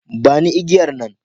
Ba ni igiyar nan.